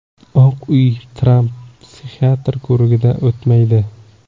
Oq Uy: Tramp psixiatr ko‘rigidan o‘tmaydi.